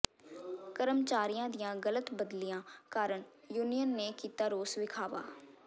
ਕਰਮਚਾਰੀਆਂ ਦੀਆਂ ਗਲਤ ਬਦਲੀਆਂ ਕਾਰਨ ਯੂਨੀਅਨ ਨੇ ਕੀਤਾ ਰੋਸ ਵਿਖਾਵਾ